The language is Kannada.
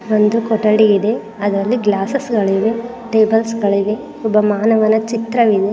ಒಂದು ಕೊಠಡಿ ಇದೆ ಅದ್ರಲ್ಲಿ ಗ್ಲಾಸ್ಸ್ಸ್ ಗಳಿವೆ. ಟೇಬಲ್ಸಗಳಿವೆ ಒಬ್ಬ ಮಾನವನ ಚಿತ್ರ--